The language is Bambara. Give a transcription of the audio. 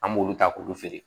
An b'olu ta k'olu feere